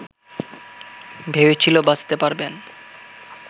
ভেবেছিল বাঁচতে পারবেন